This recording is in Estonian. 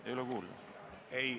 Ei ole kuulda?